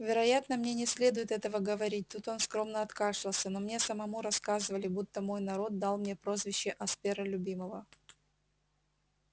вероятно мне не следует этого говорить тут он скромно откашлялся но мне самому рассказывали будто мой народ дал мне прозвище аспера любимого